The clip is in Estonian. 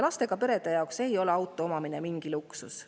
Lastega perede jaoks ei ole auto omamine mingi luksus.